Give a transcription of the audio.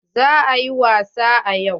Za a yi wasa yau.